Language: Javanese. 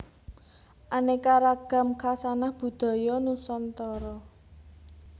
Aneka Ragam Hkasanah Budaya Nusantara